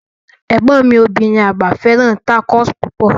Egbọn mi obirin agba fẹràn tacos pupọ.